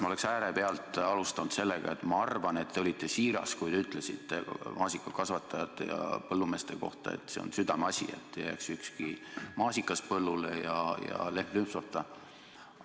Ma oleksin äärepealt alustanud sellega, et ma arvan, et te olite siiras, kui te ütlesite maasikakasvatajate ja teiste põllumeeste kohta, et see on teie südameasi, et ei jääks ükski maasikas põllule ja ükski lehm lüpsmata.